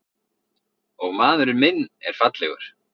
Og maðurinn minn er fallegur.